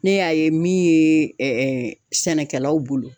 Ne y'a ye min ye sɛnɛkɛlaw bolo